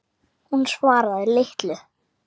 Hún svaraði litlu.